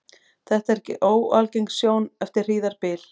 Þetta er ekki óalgeng sjón eftir hríðarbyl.